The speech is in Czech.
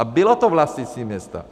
A bylo to vlastnictví města.